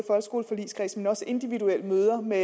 også ved individuelle møder med